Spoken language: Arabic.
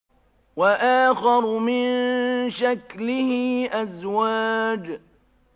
وَآخَرُ مِن شَكْلِهِ أَزْوَاجٌ